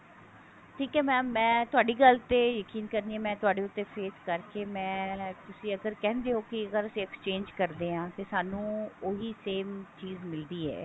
ਠੀਕ ਹੈ mam ਮੈਂ ਤੁਹਾਡੀ ਗੱਲ ਤੇ ਯਕੀਨ ਕਰਦੀ ਹਾਂ ਮੈਂ ਤੁਹਾਡੇ ਉੱਤੇ face ਕਰਕੇ ਮੈਂ ਤੁਸੀਂ ਅਗਰ ਕਹਿੰਦੇ ਹੋ ਕਿ ਅਗਰ ਅਸੀਂ exchange ਕਰਦੇ ਹਾਂ ਤੇ ਸਾਨੂੰ ਉਹੀ same ਚੀਜ ਮਿਲਦੀ ਹੈ